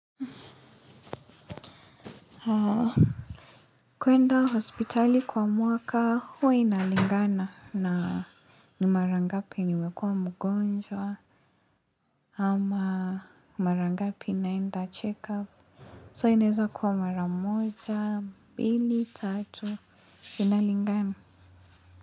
Haaa. Kuenda hospitali kwa mwaka huwa inalingana na ni marangapi nimekuwa mgonjwa. Ama marangapi naenda check-up. So inaweza kuwa maramoja, mbili, tatu, inalingana.